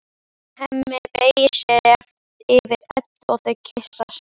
Hemmi beygir sig yfir Eddu og þau kyssast.